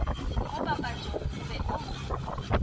mo papatšong o be o